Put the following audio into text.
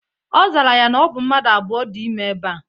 Ozara ya na obu mmadu abuo di ime eba.